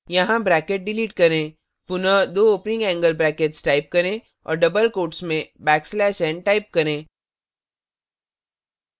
यहाँ bracket delete करें पुनः दो opening angle brackets type करें और double quotes में back slash n type करें